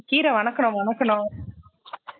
கீர வனக்குனோம் வனக்குனோம்